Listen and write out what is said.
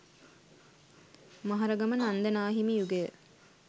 මහරගම නන්ද නා හිමි යුගය